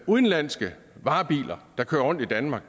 udenlandske varebiler der kører rundt i danmark